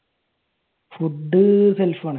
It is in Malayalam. Food self ആണ്